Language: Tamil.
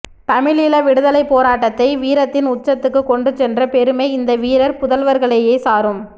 தமிழீழ விடுதலைப் போராட்டத்தை வீரத்தின் உச்சத்துக்குக் கொண்டு சென்ற பெருமை இந்த வீரப் புதல்வர்களையே சாரும்